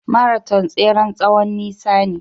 Maraton tseren tsowon nisa ne.